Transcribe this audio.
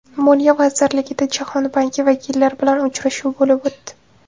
Moliya vazirligida Jahon banki vakillari bilan uchrashuv bo‘lib o‘tdi.